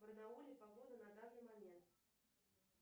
в барнауле погода на данный момент